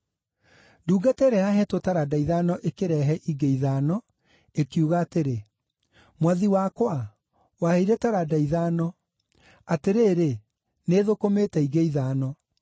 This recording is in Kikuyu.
Ndungata ĩrĩa yaheetwo taranda ithano ĩkĩrehe ingĩ ithano, ĩkiuga atĩrĩ, ‘Mwathi wakwa, waheire taranda ithano. Atĩrĩrĩ, nĩĩthũkũmĩte ingĩ ithano.’